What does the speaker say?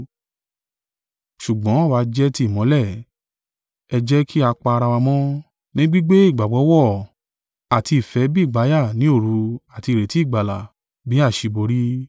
Ṣùgbọ́n àwa jẹ́ ti ìmọ́lẹ̀, ẹ jẹ́ kí a pa ara wa mọ́, ní gbígbé ìgbàgbọ́ wọ̀ àti ìfẹ́ bí ìgbàyà ni òru àti ìrètí ìgbàlà bí àṣíborí.